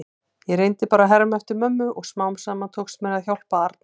Ég reyndi bara að herma eftir mömmu og smám saman tókst mér að hjálpa Arnari.